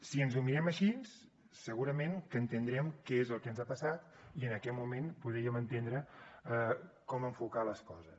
si ens ho mirem així segurament que entendrem què és el que ens ha passat i en aquest moment podríem entendre com enfocar les coses